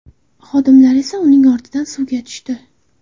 Xodimlar esa uning ortidan suvga tushdi.